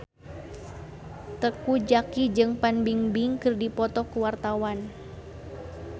Teuku Zacky jeung Fan Bingbing keur dipoto ku wartawan